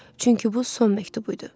Çünki bu son məktubu idi.